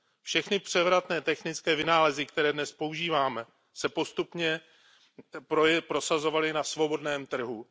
Všechny převratné technické vynálezy, které dnes používáme, se postupně prosazovaly na svobodném trhu.